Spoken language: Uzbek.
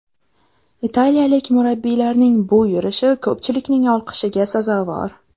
Italiyalik murabbiylarning bu yurishi ko‘pchilikning olqishiga sazovor.